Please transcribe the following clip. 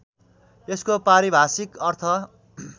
यसको पारिभाषिक अर्थ